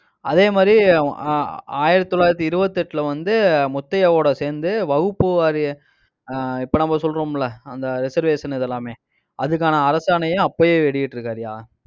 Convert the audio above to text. அதே மாதிரி ஆஹ் ஆயிரத்தி தொள்ளாயிரத்தி இருபத்தி எட்டுல வந்து, முத்தையாவோட சேர்ந்து, வகுப்பு வாரிய ஆஹ் இப்ப நம்ம சொல்றோம் இல்ல அந்த reservation இதெல்லாமே அதுக்கான அரசாணையை, அப்பயே வெளியிட்டிருக்காருய்யா